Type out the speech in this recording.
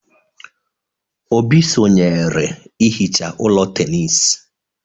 Obi sonyeere ihicha ụlọ tenis.